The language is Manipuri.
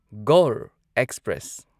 ꯒꯧꯔ ꯑꯦꯛꯁꯄ꯭ꯔꯦꯁ